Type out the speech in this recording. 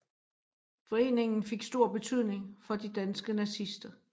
Foreningen fik stor betydning for de danske nazister